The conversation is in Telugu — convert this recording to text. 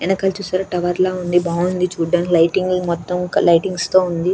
వెనకాల చూశారా టవర్ లా ఉంది బాగుంది చూడ్డానికి లైటింగ్ మొత్తం లైటింగ్స్ తో ఉంది.